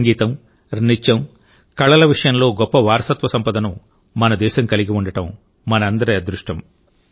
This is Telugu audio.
సంగీతం నృత్యం కళల విషయంలో గొప్ప వారసత్వ సంపదను మన దేశం కలిగి ఉండటం మనందరి అదృష్టం